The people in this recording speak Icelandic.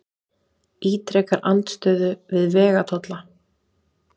Ítrekar andstöðu við vegatolla